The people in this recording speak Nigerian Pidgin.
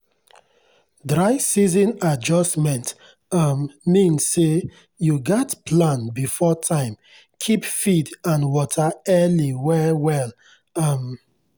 dry season adjustment um mean say you gats plan before time keep feed and water early well well. um